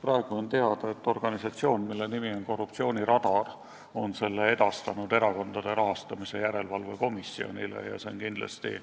Praegu on teada, et organisatsioon, mille nimi on Korruptsiooniradar, on selle edastanud Erakondade Rahastamise Järelevalve Komisjonile ja see on kindlasti